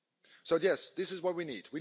So yes, this is what we need.